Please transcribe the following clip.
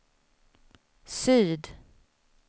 syd